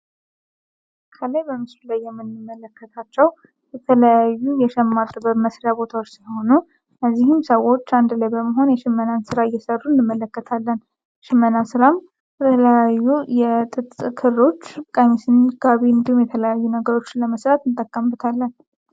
የምንመለከታቸው የተለያዩ የጥበብ የሽመና ስራዎች ሲሆኑ ሁሉም ሰዎች አንድ ላይ በመሆን የሸመናን እየሰሩ እንመለከታለን የተለያዩ የክር ጥለቶችን ለመስራት እንጠቀምበታል።